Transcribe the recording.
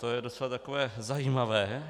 To je docela takové zajímavé.